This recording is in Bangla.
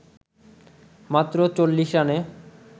মাত্র ৪০ রানে